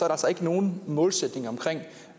altså ikke nogen målsætning for